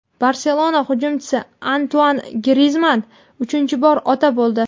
"Barselona" hujumchisi Antuan Grizman uchinchi bor ota bo‘ldi.